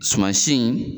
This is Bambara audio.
Suma si in